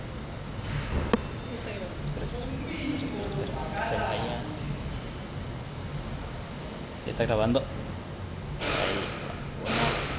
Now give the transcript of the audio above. umbiko lovakalako nje